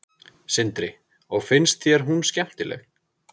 Sindri: Og finnst þér hún skemmtileg?